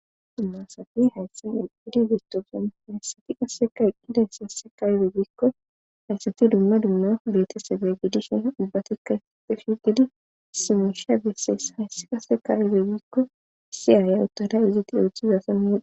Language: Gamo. dummasafi hayssan eqqidi gestofea hayssati qasseka eqqida yssase ayibe giikko hayssati dumma dumma betesebe gidishina ubbatikka ysape shiqidi simisha besses hayssi qase ka ibey giikko siyaaya uttada izatti dooththizason mudi